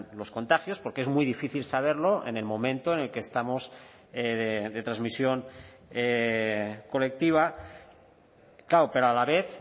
los contagios porque es muy difícil saberlo en el momento en el que estamos de transmisión colectiva claro pero a la vez